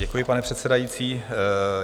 Děkuji, pane předsedající.